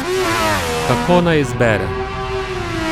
Kako naj izbere?